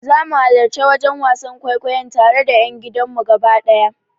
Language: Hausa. Zamu halarci wajen wasan kwaikwayon tare da yan gidanmu gaba daya.